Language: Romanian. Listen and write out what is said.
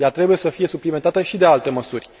Ea trebuie să fie suplimentată și de alte măsuri.